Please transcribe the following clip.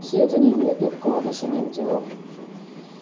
всё это не имеет никакого отношения к делу